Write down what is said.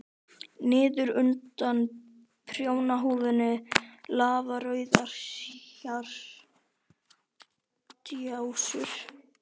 Niður undan prjónahúfunni lafa rauðar hártjásur.